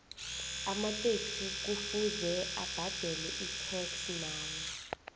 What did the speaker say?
amataxi kuvuze abadele itax nawo